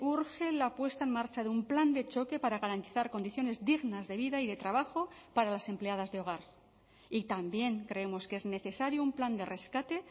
urge la puesta en marcha de un plan de choque para garantizar condiciones dignas de vida y de trabajo para las empleadas de hogar y también creemos que es necesario un plan de rescate